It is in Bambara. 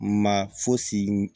Ma fosi